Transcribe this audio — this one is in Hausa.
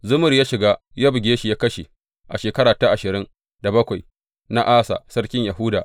Zimri ya shiga, ya buge shi ya kashe a shekara ta ashirin da bakwai na Asa sarkin Yahuda.